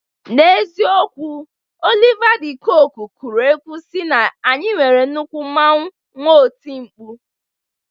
N'eziokwu, Olia Dị Kooku kụrụ egwu sị na anyị nwere nnukwu mmanwụ nwee oti mkpu.